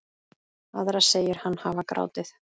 Aðra segir hann hafa grátið.